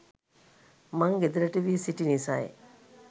මං ගෙදරට වී සිටි නිසයි.